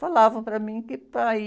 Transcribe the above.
Falavam para mim que, para ir